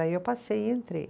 Aí eu passei e entrei.